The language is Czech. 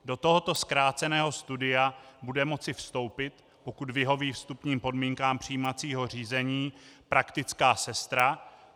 Do tohoto zkráceného studia bude moci vstoupit, pokud vyhoví vstupním podmínkám přijímacího řízení, praktická sestra.